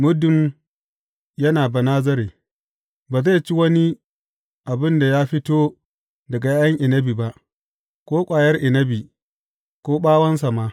Muddin yana Banazare, ba zai ci wani abin da ya fito daga ’ya’yan inabi ba, ko ƙwayar inabi, ko ɓawonsa ma.